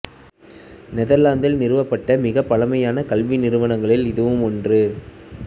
நெதர்லாந்தில் நிறுவப்பட்ட மிகப் பழைய கல்வி நிறுவனங்களில் இதுவும் ஒன்று